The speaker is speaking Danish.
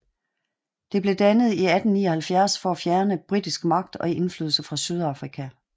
Det blev dannet i 1879 for at fjerne britisk magt og indflydelse fra Sydafrika